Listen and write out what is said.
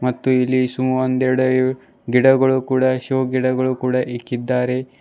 ಮತ್ತು ಇಲ್ಲಿ ಸಮಾರು ಒಂದೆರೆಡು ಗಿಡಗಳು ಕೂಡ ಶೋ ಗಿಡಗಳು ಕೂಡ ಇಕ್ಕಿದ್ದಾರೆ.